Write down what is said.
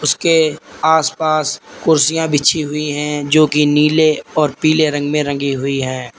उसके आस पास कुर्सियां बिछी हुई हैं जो की नीले और पीले रंग में रंगी हुई है।